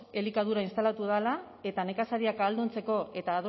elikadura instalatu dela eta nekazariak ahalduntzeko eta